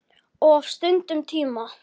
Of stuttum tíma.